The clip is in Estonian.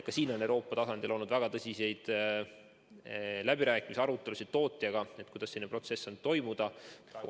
Ka selle üle on Euroopa tasandil olnud väga tõsiseid läbirääkimisi, arutelusid tootjaga, kuidas protsess on kulgenud.